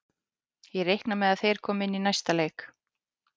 Ég reikna með að þeir komi inn í næsta leik.